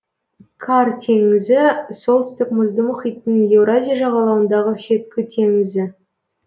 кар теңізі солтүстік мұзды мұхиттың еуразия жағалауындағы шеткі теңізі